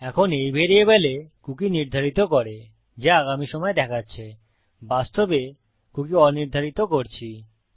এখন এই ভ্যারিয়েবলে কুকী নির্ধারিত করে যা আগামী সময় দেখাচ্ছে বাস্তবে কুকী অনির্ধারিত করছি